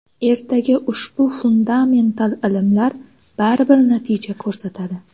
Ertaga ushbu fundamental ilmlar baribir natija ko‘rsatadi.